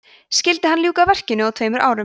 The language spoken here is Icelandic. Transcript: skyldi hann ljúka verkinu á tveimur árum